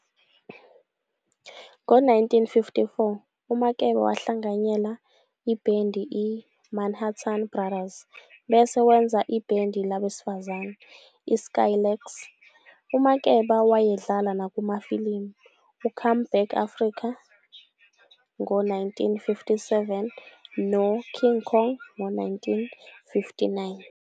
Ngo1954 uMakeba wahlanganyela ibhendi i- "Manhattan Brothers", bese wenza ibhendi labesifazane, i-Skylarks. UMakeba wayedlala nakumafilimu u-"Come Back Africa" ngo-1957, no "King Kong ngo-1959.